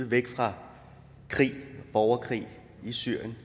væk fra krig og borgerkrig i syrien